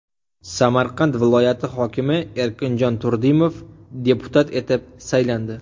Samarqand viloyati hokimi Erkinjon Turdimov deputat etib saylandi.